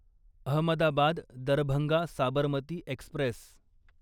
Ahmedabad Darbhanga Sabarmati Express